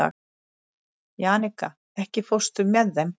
Jannika, ekki fórstu með þeim?